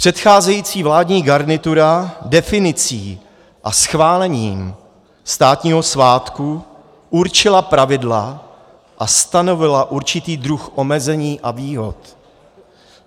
Předcházející vládní garnitura definicí a schválením státního svátku určila pravidla a stanovila určitý druh omezení a výhod.